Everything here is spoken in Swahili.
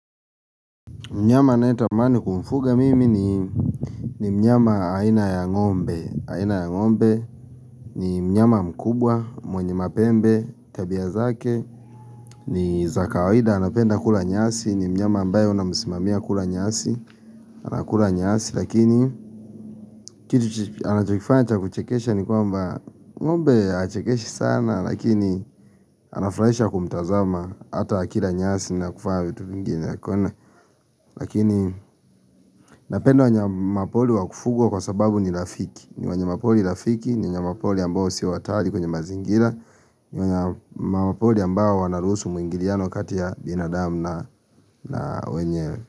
Mnyama ninayetamani kumfuga mimi ni mnyama aina ya ngombe aina ya ngombe ni mnyama mkubwa, mwenye mapembe, tabia zake ni za kawaida anapenda kula nyasi, ni mnyama ambaye na umsimamia kula nyasi anakula nyasi lakini kitu anachokifanya cha kuchekesha ni kwamba ngombe hachekeshi sana lakini anafurahisha kumtazama Hata akila nyasi na kufanya vitu vingine Lakini napenda wanyamapori wakufugwa kwa sababu ni rafiki ni wanyamapori rafiki, ni wanyamapori ambao sio hatari kwenye mazingira ni wanyamapori ambao wanaruhusu mwingiliano kati ya binadamu na wenyewe.